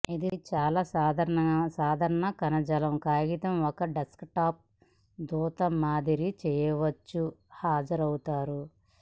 ఇది చాలా సాధారణ కణజాలం కాగితం ఒక డెస్క్టాప్ దూత మారింది చేయవచ్చు హాజరవుతారు